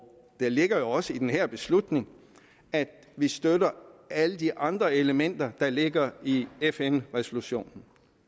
det ligger jo også i den her beslutning at vi støtter alle de andre elementer der ligger i fn resolutionen